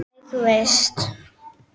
Æ, þú veist.